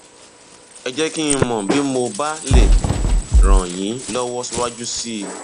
ẹ jẹ kí n mọ bí mo bá lè ràn lè ràn yín lọwọ síwájú sí i